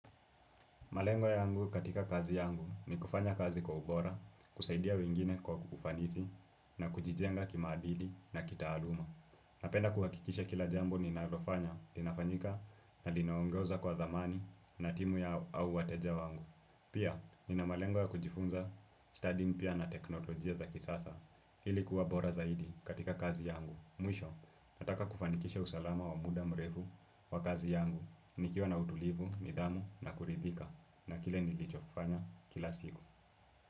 Malengwa yangu katika kazi yangu ni kufanya kazi kwa ubora, kusaidia wengine kwa ufansiii na kujijenga kima adidi na kita aluma Napenda kuhakikisha kila jambo nina alofanya, tinafanyika na linaongoza kwa dhamani na timu ya au wateja wangu. Pia, nina malengo kujifunza studying pia na teknolojia za kisasa ilikuwa bora zaidi katika kazi yangu. Mwisho, nataka kufanikisha usalama wa muda mrefu wa kazi yangu, nikiwa na utulivu, nidhamu na kuridhika. Na kile nilijo kufanya kila siku.